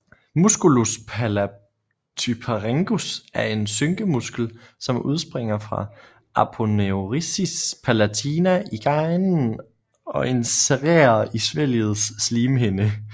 Musculus palatopharyngeus er en synkemuskel som udspringer fra aponeurosis palatina i ganen og insererer i svælgets slimhinde